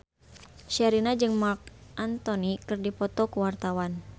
Sherina jeung Marc Anthony keur dipoto ku wartawan